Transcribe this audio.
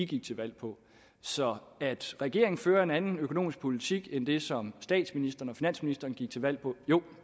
gik til valg på så at regeringen fører en anden økonomisk politik end den som statsministeren og finansministeren gik til valg på jo